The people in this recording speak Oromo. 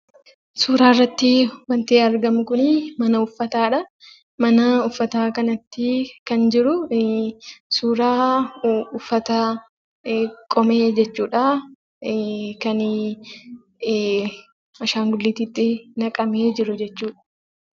Suuraa irratti waanti argamu kuni mana uffataadha. Mana uffataa kanatti kan jiru suuraa uffata qomee jechuudha. Kan "ashaangulliitiitti" naqamee jiru jechuudha.